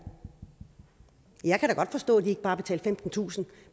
jeg kan da godt forstå at de ikke bare betalte femtentusind